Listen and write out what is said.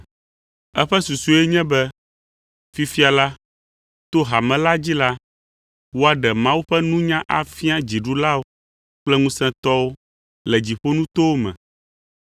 Eƒe susue nye be fifia la, to hame la dzi la, woaɖe Mawu ƒe nunya afia dziɖulawo kple ŋusẽtɔwo le dziƒonutowo me,